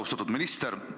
Austatud minister!